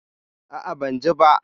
A'a, ban ji ba.